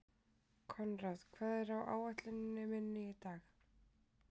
Koðrán, hvað er á áætluninni minni í dag?